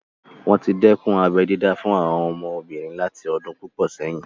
Wọ́n tí dẹ́kun abẹ́ dídá fún àwọn ọmọbìnrin láti ọdún púpọ̀ sẹ́yìn